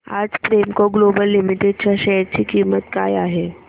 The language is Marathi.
आज प्रेमको ग्लोबल लिमिटेड च्या शेअर ची किंमत काय आहे